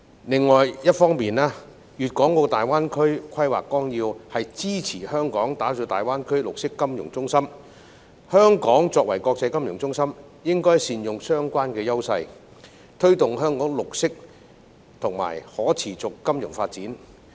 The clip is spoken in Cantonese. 另一方面，《粵港澳大灣區發展規劃綱要》支持香港打造大灣區綠色金融中心，香港作為國際金融中心，應該善用相關優勢，推動香港綠色及可持續金融發展。